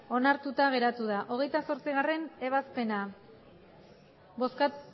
onartuta geratu da hogeita zortzigarrena ebazpena